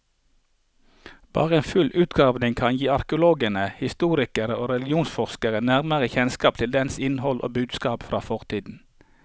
Bare en full utgravning kan gi arkeologene, historikere og religionsforskere nærmere kjennskap til dens innhold og budskap fra fortiden.